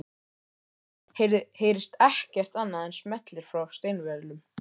Í þögninni heyrist ekkert annað en smellir frá steinvölum